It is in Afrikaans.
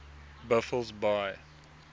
buffelsbaai